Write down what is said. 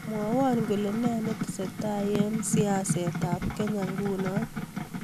Mwowon kole me netesetai eng siasetab Kenya nguno